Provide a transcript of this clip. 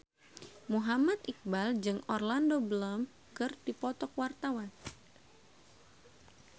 Muhammad Iqbal jeung Orlando Bloom keur dipoto ku wartawan